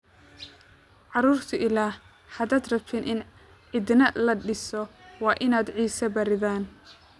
Carruurtii ilaah, haddaad rabtan in cidina la dhiso, waa inaad ciise baridaan